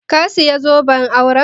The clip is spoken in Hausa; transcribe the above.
Ka saya zoben auren?